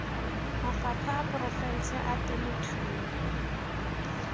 mafapha a porofense a temothuo